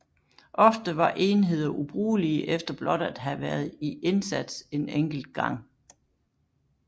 Ofte var enheder ubrugelige efter blot at have været i indsats en enkelt gang